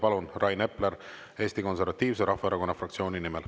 Palun, Rain Epler, Eesti Konservatiivse Rahvaerakonna fraktsiooni nimel.